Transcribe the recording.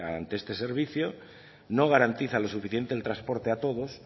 ante este servicio no garantiza lo suficiente el transporte a todos